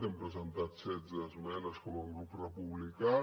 hem presentat setze esmenes com a grup republicà